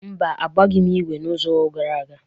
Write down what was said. Mba, agbaghị m ígwè izu gara aga.